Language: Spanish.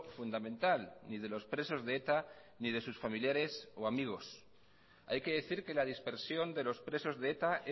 fundamental ni de los presos de eta ni de sus familiares o amigos hay que decir que la dispersión de los presos de eta